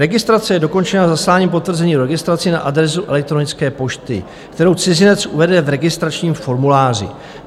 Registrace je dokončena zasláním potvrzení o registraci na adresu elektronické pošty, kterou cizinec uvede v registračním formuláři.